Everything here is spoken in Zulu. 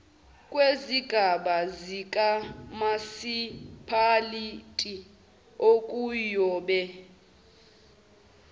kwezigaba zikamasipalati okuyobe